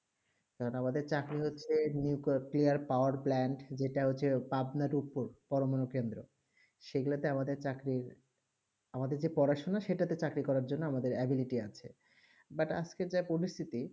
কেমন আমাদের চাকরি হচ্ছেই new করতে ই powerplant যেটা হচ্ছেই আপনার উপর প্রমাণ কেন্দ্র সেই ক্ষেত্রে আমাদের চাকরি আমাদের যে পড়াশোনা সেটা তে চাকরি করা জন্য আমাদের availabilty আছে but আজকে যা পরিসিটি